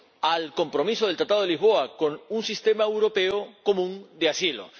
al compromiso del Tratado de Lisboa, con un Sistema Europeo Común de Asilo.